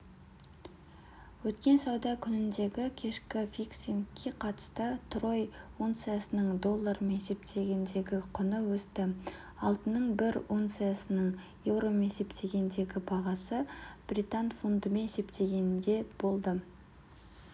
өткен сауда күніндегікешкі фиксингке қатысты трой унциясының доллармен есептегендегі құны өсті алтынның бір унциясының еуромен есептегендегі бағасы британ фунтымен есептегенде болды